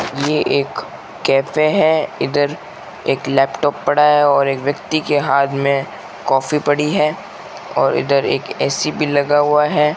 ये एक कैफ़े है इधर एक लैपटॉप पड़ा है और एक व्यक्ति के हाथ में काफी पड़ी है और इधर एक ए_सी भी लगा हुआ है।